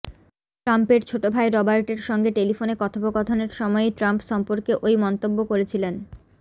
ট্রাম্পের ছোট ভাই রবার্টের সঙ্গে টেলিফোনে কথোপকথনের সময়েই ট্রাম্প সম্পর্কে ওই মন্তব্য করেছিলেন